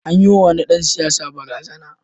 An yiwa wani dan siyasa barazana.